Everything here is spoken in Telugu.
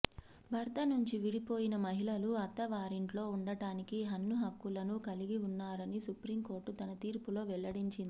భర్త నుంచి విడిపోయిన మహిళలు అత్త వారింట్లో ఉండడానికి అన్ని హక్కులను కలిగి ఉన్నారని సుప్రీంకోర్టు తన తీర్పులో వెల్లడించింది